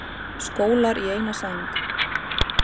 Skólar í eina sæng